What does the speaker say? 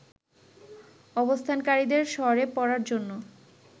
অবস্থানকারীদের সরে পড়ার জন্য